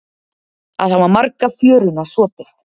Að hafa marga fjöruna sopið